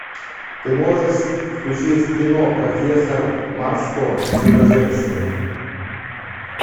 ты можешь включить кино профессор марстон и чудо женщины